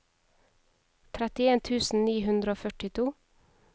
trettien tusen ni hundre og førtito